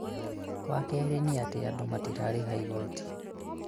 wa kerĩ nĩ atĩ andũ matirarĩha igoti